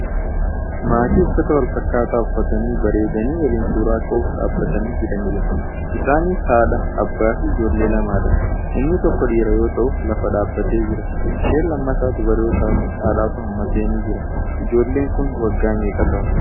Maatii uffata walfakkaataa uffatanii bareedanii waliin suuraa ka'uuf dhaabbatanii jiranidha. Isaanis haadha, abbaafi ijoollee lamadha. Inni tokko dhiira yoo ta'u lafa dhaabbatee jira. Isheen lammataa dubara yoo taatu haadhatu hammateenii jira. Ijoolleen kun waggaa meeqa ta'u?